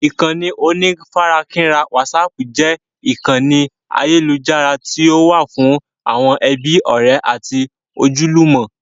Ìkànnì onífarakínra wásààpù jẹ́ ìkànnì ayélujára tí ó wà fún àwọn ẹbí, ọrẹ àti ojúlùmò.